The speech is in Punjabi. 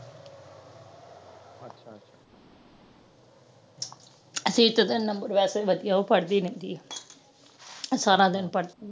ਸੀਰਤ ਦੇ number ਵੈਸੇ ਵੀ ਵਧਿਆ ਉਹ ਪੜ੍ਹਦੀ ਰਹਿੰਦੀ ਏ ਸਾਰਾ ਦਿਨ ਪੜ੍ਹਦੀ ਏ